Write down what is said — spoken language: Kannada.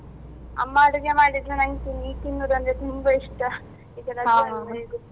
ಅಮ್ಮ ಅಡುಗೆಮಾಡಿದ್ನ ನನ್ಗೆ ಸರಿ ತಿನ್ನುದಂದ್ರೆ ತುಂಬಾ ಇಷ್ಟ ಈಗ